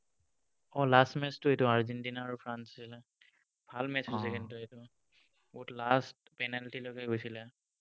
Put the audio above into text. অ, last match টো এইটো Argentina আৰু ফ্ৰান্স আছিলে। ভাল match আছিলে কিন্তু এইটো। বহুত last penalty লৈকে গৈছিলে।